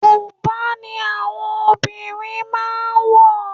Bùbá ni àwọn obìnrin máà ń wọ̀.